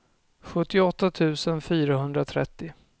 sjuttioåtta tusen fyrahundratrettio